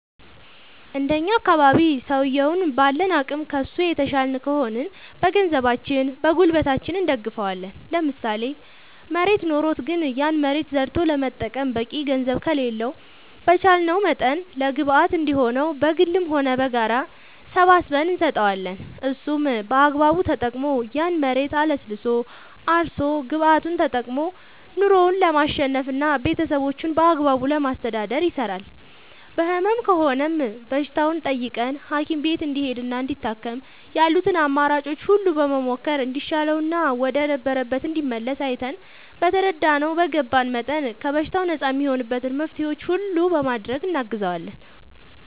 እንደኛ አካባቢ ሠውየዉን ባለን አቅም ከሡ የተሻልን ከሆንን በገንዘባችን በጉልበታችን እንደግፈዋለን ለምሳሌ መሬት ኖሮት ግን ያን መሬት ዘርቶ ለመጠቀም በቂ ገንዘብ ከሌለው በቻለንው መጠን ለግብአት እንዲሆነው በግልም ሆነ በጋራ ሰባስበን እንሰጠዋለን እሱም በአግባቡ ተጠቅሞ ያን መሬት አለስልሶ አርሶ ግብዓቱን ተጠቅሞ ኑሮው ለማሸነፍና ቤተሠቦቹን በአግባቡ ለማስተዳደር ይሰራል በህመም ከሆነም በሽታውን ጠይቀን ሀኪም ቤት እንዲሄድና እንዲታከም ያሉትን አማራጮች ሁሉ በመሞከር እንዲሻለውና ወደ ነበረበት እንዲመለስ አይተን በተረዳነው በገባን መጠን ከበሽታው ነፃ እሚሆንበትን መፍትሔዎች ሁሉ በማድረግ እናግዘዋለን